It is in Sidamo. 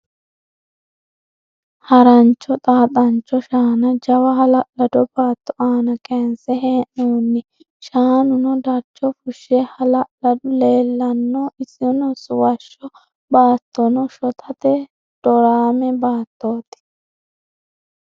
Harancho xaaxancho shaana jawa hala'lado baato aana kayinse hee'noonni. Shaanuno darcho fushshe hala'lw leellannoe. Isono suwashshaho baattono shotate doraame baattooti.